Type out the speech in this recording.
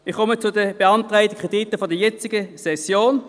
Ich komme zu den beantragten Krediten der jetzigen Session: